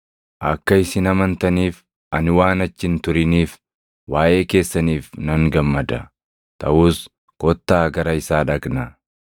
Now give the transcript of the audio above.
akka isin amantaniif ani waan achi hin turiniif waaʼee keessaniif nan gammada. Taʼus kottaa gara isaa dhaqnaa.”